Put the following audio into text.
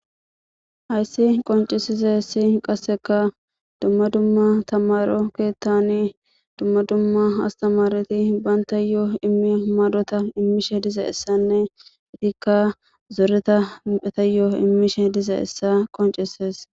Hayssi qoncisize ssi qasseka dumma dumma tamaro keettani dumma dumma astamareti baynta yoo immi madota immishe diza essanne itikka zoreta etayyoo immishe diza essa qoncises